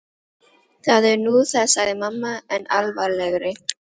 Það er nú það sagði mamma enn alvarlegri.